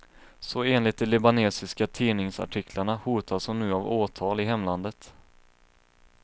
Så enligt de libanesiska tidningsartiklarna hotas hon nu av åtal i hemlandet.